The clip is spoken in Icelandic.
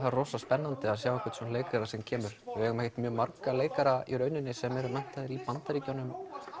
rosa spennandi að sjá einhvern svona leikara sem kemur við eigum ekkert marga leikara sem eru menntaðir í Bandaríkjunum